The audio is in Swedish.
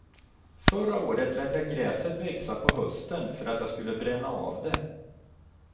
Förra året lät jag gräset växa på hösten för att jag skulle bränna av det.